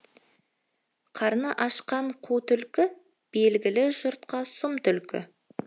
қарны ашқан қу түлкі белгілі жұртқа сұм түлкі